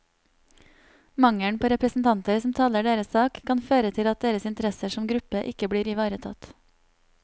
Mangelen på representanter som taler deres sak, kan føre til at deres interesser som gruppe ikke blir ivaretatt.